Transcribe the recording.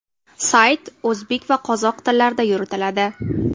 Sayt o‘zbek va qozoq tillarida yuritiladi.